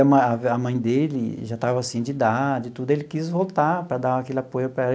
A mãe dele já estava assim de idade e tudo, ele quis voltar para dar aquele apoio para ela.